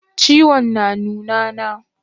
Ciwon na nuna na?